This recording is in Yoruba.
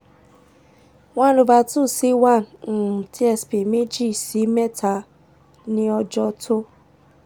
one over two si one tsp meji si mẹta ni ọjọ to